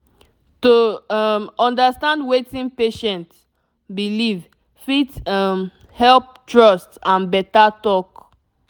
to um understand wetin patient believe fit um help trust and better talk